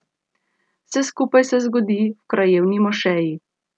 Vse skupaj se zgodi v krajevni mošeji.